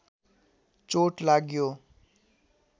चोट लाग्यो